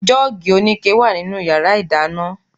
Jọ́ọ̀gì oníke wà nínú yàrá ìdáná